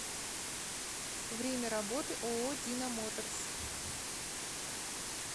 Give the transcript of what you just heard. время работы ооо дина моторс